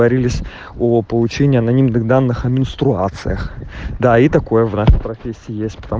о получении анонимных данных менструациях да и такое врач профессия